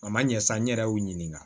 A ma ɲɛ sa n yɛrɛ y'u ɲininka